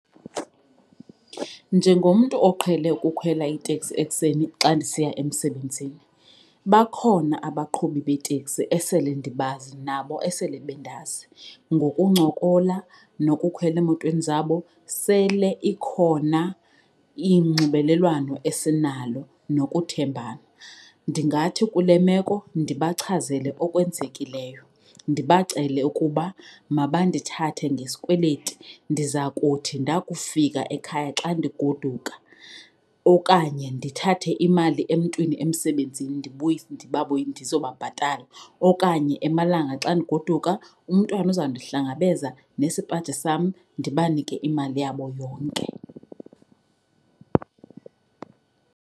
Njengomntu oqhele ukhwela iteksi ekuseni xa ndisiya emsebenzini, bakhona abaqhubi beeteksi esele ndibazi nabo esele bendazi. Ngokuncokola nokukhwela emotweni zabo sele ikhona inxibelelwano esinalo nokuthembana. Ndingathi kule meko ndibachazele okwenzekileyo, ndibacele ukuba mabandithathe ngesikweleti ndiza kuthi ndakufika ekhaya xa ndigoduka okanye ndithathe imali emntwini emsebenzini ndizobabhatala. Okanye emalanga xa ndigoduka umntwana uzawundihlangabeza nesipaji sam ndibanike imali yabo yonke.